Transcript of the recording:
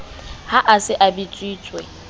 ha a se a bitsitswe